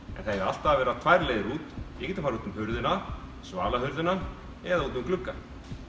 það eiga alltaf að vera tvær leiðir út við getum farið út um hurðina svalahurðina eða út um glugga